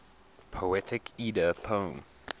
poetic edda poem